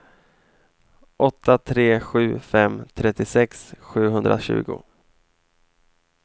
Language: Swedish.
åtta tre sju fem trettiosex sjuhundratjugo